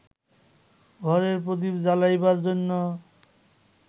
ঘরের প্রদীপ জ্বালাইবার জন্য